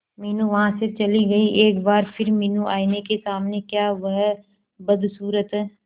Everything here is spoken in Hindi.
मीनू वहां से चली गई एक बार फिर मीनू आईने के सामने क्या वह बदसूरत है